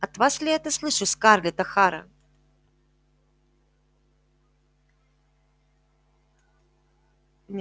от вас ли я это слышу скарлетт охара